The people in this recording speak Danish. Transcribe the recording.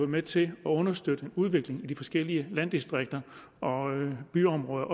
med til at understøtte en udvikling i de forskellige landdistrikter og byområder